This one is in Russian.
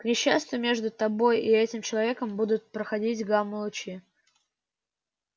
к несчастью между тобой и этим человеком будут проходить гамма-лучи